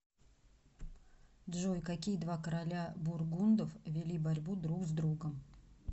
джой какие два короля бургундов вели борьбу друг с другом